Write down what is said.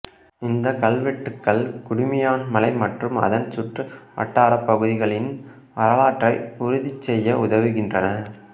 இந்தக் கல்வெட்டுகள் குடுமியான்மலை மற்றும் அதன் சுற்று வட்டாரப் பகுதிகளின் வரலாற்றை உறுதிசெய்ய உதவுகின்றன